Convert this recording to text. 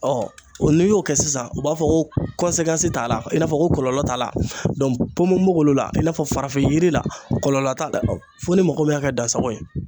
n'i y'o kɛ sisan u b'a fɔ ko t'a la i n'a fɔ ko kɔlɔlɔ t'a la ponbonbogolo la i n'a fɔ farafin yiri la kɔlɔlɔ t'a la fo ni mɔgɔ min y'a kɛ dansago ye.